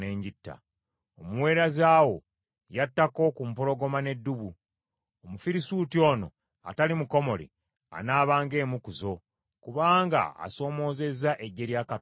Omuweereza wo yattako ku mpologoma n’eddubu. Omufirisuuti ono atali mukomole anaaba ng’emu ku zo, kubanga asoomozezza eggye lya Katonda omulamu.”